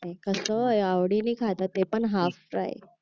कस आवडीने खातात ते पण हाफ फ्राय